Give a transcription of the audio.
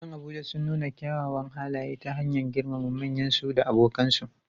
Yaran Abuja sun nuna kyawawan halaye ta hanyar girmama manyansu da abokansu.